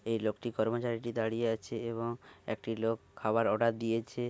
এই লোকটি কর্মচারীটি দাঁড়িয়ে আছে এবং একটি লোক খাবার অর্ডার দিয়েছে ।